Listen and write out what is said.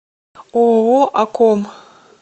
ооо акком